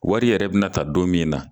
Wari yɛrɛ bɛna ta don min na